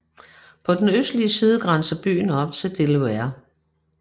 På den østlige side grænser byen op til Delaware